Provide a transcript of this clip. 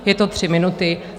Jsou to tři minuty.